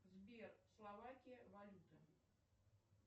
сбер словакия валюта